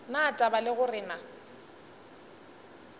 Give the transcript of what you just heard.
na taba le gore na